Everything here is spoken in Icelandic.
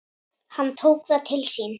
Hann tók það til sín